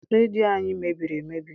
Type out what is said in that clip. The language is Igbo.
Redio our mebiri emebi.